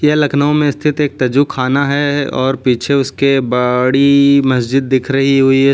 यह लखनऊ में स्थित एक तजु खाना है और पीछे उसके बड़ी मस्जिद दिख रही हुई है।